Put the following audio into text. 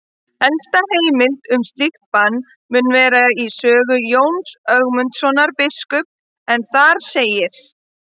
Elsta heimild um slíkt bann mun vera í sögu Jóns Ögmundssonar biskups en þar segir: